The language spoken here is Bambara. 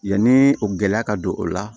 Yanni o gɛlɛya ka don o la